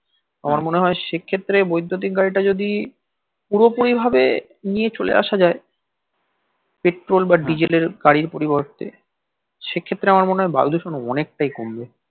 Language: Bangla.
আমার মনে হয় সে ক্ষেত্রে বৈদুতিক গাড়ি টা যদি পুরোপুরি ভাবে নিয়ে চলে আসা যাই পেট্রোল বা ডিজেল এর গাড়ির পরিবর্তে সে ক্ষেত্রে আমার মনে হয় বায়ু দূষণ অনেকটাই কমবে